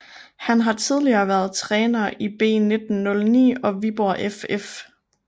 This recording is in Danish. Har har tidligere været træner i B1909 og Viborg FF